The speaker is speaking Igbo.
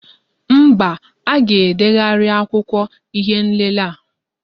Mba, a ga-edegharị akwụkwọ ihé nlélé a